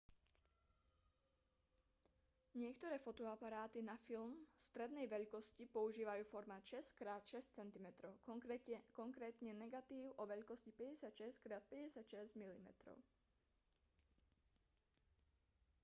niektoré fotoaparáty na filmy strednej veľkosti používajú formát 6x6 cm konkrétne negatív o veľkosti 56x56 mm